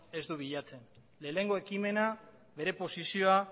ez du bilatzen lehenengo ekimena bere posizioa